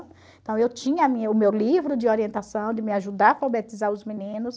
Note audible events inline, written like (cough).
Então, eu tinha (unintelligible) o meu livro de orientação, de me ajudar a alfabetizar os meninos.